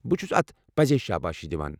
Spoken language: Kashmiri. بہٕ چُھس اتھ پٔزے شابٲشی دِوان۔